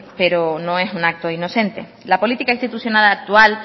pero no es un acto inocente la política institucional actual